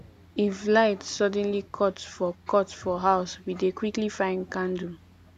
if light suddenly cut for cut for house we dey quickly find candle